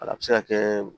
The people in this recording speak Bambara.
Wala bi se ka kɛ